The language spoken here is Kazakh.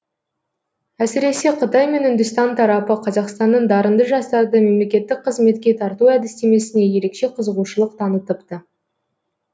әсіресе қытай мен үндістан тарапы қазақстанның дарынды жастарды мемлекеттік қызметке тарту әдістемесіне ерекше қызығушылық танытыпты